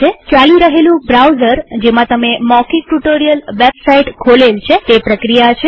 ચાલી રહેલું બ્રાઉઝર જેમાં તમે મૌખિક ટ્યુ્ટોરીઅલ વેબ સાઈટ ખોલેલ છે તે પ્રક્રિયા છે